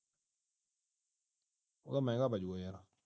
ਉਹ ਤਾਂ ਮਹਿੰਗਾ ਪੈ ਜਾਊਗਾ ਯਾਰ